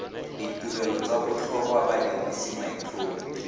ditirelo tsa botlhokwa badirisi maitlhomo